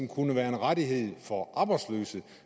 kunne være en rettighed for arbejdsløse